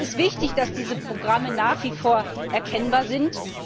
Es ist wichtig, dass diese Programme nach wie vor erkennbar sind.